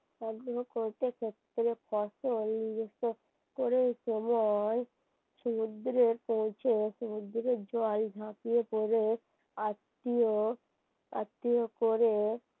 কোন সময় সমুদ্রে পৌঁছে সমুদ্রের জল ঝাপিয়ে পড়ে আত্মীয় আত্মীয় করে